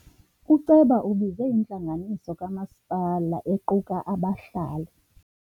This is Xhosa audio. Uceba ubize intlanganiso kamasipala equka abahlali.